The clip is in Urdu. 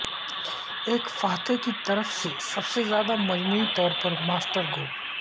ایک فاتح کی طرف سے سب سے زیادہ مجموعی طور پر ماسٹر گول